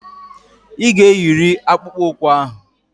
Ị ga-eyiriri akpụkpọ ụkwụ ahụ.